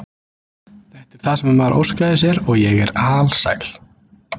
Þetta er það sem maður óskaði sér og ég er alsæl.